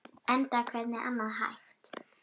Enda hvernig annað hægt?